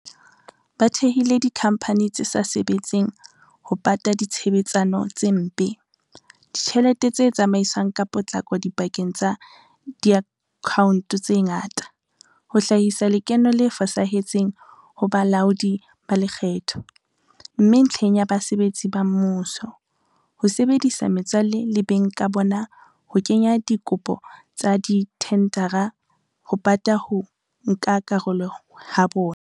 Ba thehile dikhamphani tse sa sebetseng ho pata ditshebetsano tse mpe, ditjhelete tse tsamaiswang ka potlako dipakeng tsa diakhaonto tse ngata, ho hlahisa lekeno le fosahetseng ho balaodi ba lekgetho, mme ntlheng ya basebetsi ba mmuso, ho sebedisa metswalle le beng ka bona ho kenya dikopo tsa dithendara ho pata ho nka karolo ha bona.